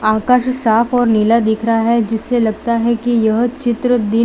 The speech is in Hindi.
आकाश साफ और नीला दिख रहा है जिससे लगता है की यह चित्र दिन --